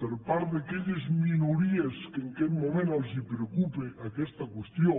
per part d’aquelles minories que en aquest moment els preocupa aquesta qüestió